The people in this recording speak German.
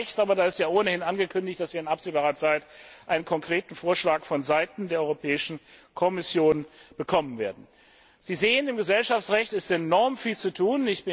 Aber da ist ja ohnehin angekündigt, dass wir in absehbarer Zeit einen konkreten Vorschlag von Seiten der Europäischen Kommission bekommen werden. Sie sehen, im Gesellschaftsrecht ist enorm viel zu